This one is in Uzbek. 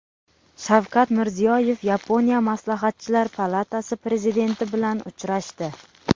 Shavkat Mirziyoyev Yaponiya Maslahatchilar palatasi prezidenti bilan uchrashdi.